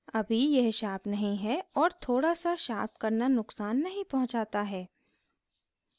अभी यह शार्प नहीं है और थोड़ा s शार्प करना नुकसान नहीं पहुंचाता है